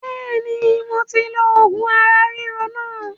Bẹ́ẹ̀ni moti lo oògùn ara ríro náà